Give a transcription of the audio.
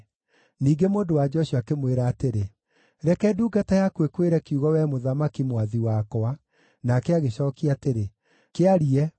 Ningĩ mũndũ-wa-nja ũcio akĩmwĩra atĩrĩ, “Reke ndungata yaku ĩkwĩre kiugo wee mũthamaki, mwathi wakwa.” Nake agĩcookia atĩrĩ, “Kĩarie.”